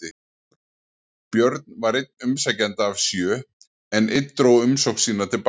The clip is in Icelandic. Björn var einn umsækjenda af sjö, en einn dró umsókn sína til baka.